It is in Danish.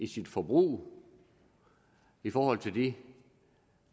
sit forbrug og i forhold til de